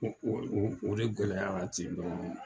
o de gɛlɛya ten dɔrɔn